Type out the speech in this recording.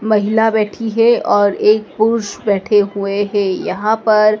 महिला बैठी है और एक पुरुष बैठे हुए है यहां पर--